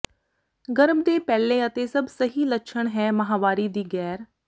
ਗਰਭ ਦੇ ਪਹਿਲੇ ਅਤੇ ਸਭ ਸਹੀ ਲੱਛਣ ਹੈ ਮਾਹਵਾਰੀ ਦੀ ਗੈਰ